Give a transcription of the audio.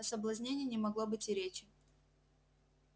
о соблазнении не могло быть и речи